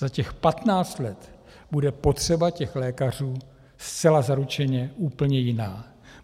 Za těch patnáct let bude potřeba těch lékařů zcela zaručeně úplně jiná.